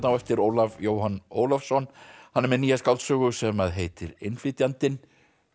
á eftir Ólaf Jóhann Ólafsson hann er með nýja skáldsögu sem heitir innflytjandinn